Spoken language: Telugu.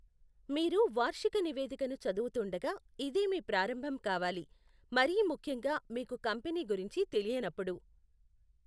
మీరు వార్షిక నివేదికను చదువుతుండగా ఇదే మీ ప్రారంభం కావాలి, మరీ ముఖ్యంగా మీకు కంపెనీ గురించి తెలియనప్పుడు.